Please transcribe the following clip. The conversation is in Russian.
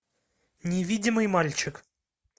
невидимый мальчик